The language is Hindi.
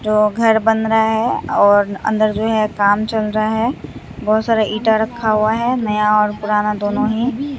जो घर बन रहा है और अंदर जो है काम चल रहा है बहुत सारा ईंटा रखा हुआ है नया और पुराना दोनों ही।